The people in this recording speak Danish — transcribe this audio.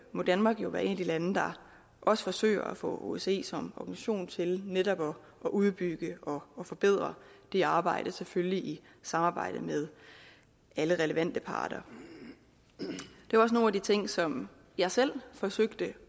må danmark jo være et af de lande der også forsøger at få osce som organisation til netop at udbygge og forbedre det arbejde selvfølgelig i samarbejde med alle relevante parter det var også nogle af de ting som jeg selv forsøgte